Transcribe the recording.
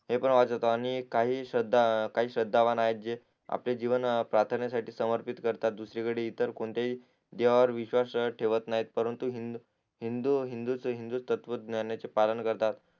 तेपण वाचतो आणि काही श्रद्धा श्रद्धावाण आहेत जे आपले जीवन प्रार्थनेसाठी समर्पित करतात दुसरीकडे इतर कोणत्याही देवावर विश्वास ठेवत नाही परन्तु हिंदू हिंदू हिंदू हिंदुत्त्व ज्ञानचे पालन करतात